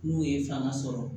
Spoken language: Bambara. N'u ye fanga sɔrɔ